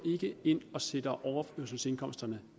ind og sætter overførselsindkomsterne